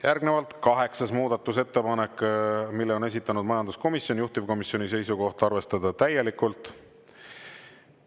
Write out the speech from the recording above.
Järgnevalt, kaheksas muudatusettepanek, mille on esitanud majanduskomisjon, juhtivkomisjoni seisukoht: arvestada täielikult.